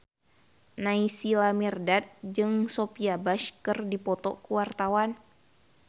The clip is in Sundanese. Naysila Mirdad jeung Sophia Bush keur dipoto ku wartawan